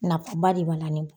Nafaba de b'a la ne bolo.